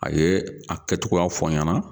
A ye a kɛtogoya fɔ n ɲɛna